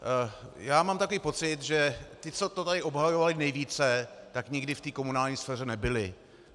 Já mám takový pocit, že ti, co to tady obhajovali nejvíce, tak nikdy v té komunální sféře nebyli.